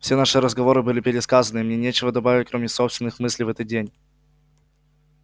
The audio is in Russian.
все наши разговоры были пересказаны и мне нечего добавить кроме собственных мыслей в этот день